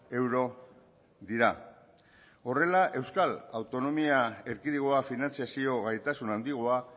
euro dira horrela euskal autonomia erkidegoa finantzazio gaitasun handigoa